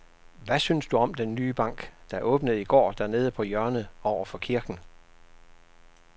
Hvad synes du om den nye bank, der åbnede i går dernede på hjørnet over for kirken?